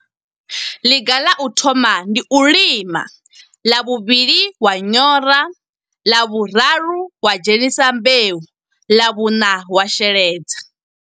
Liga ḽa u thoma, ndi u lima. Ḽa vhuvhili wa nyora, ḽa vhuraru wa dzhenisa mbeu, ḽa vhuṋa wa sheledza.